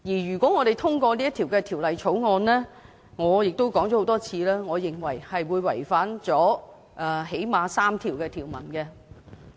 如果我們通過《條例草案》——而我亦說過很多遍了——我認為會違反《基本法》內最少3項條文。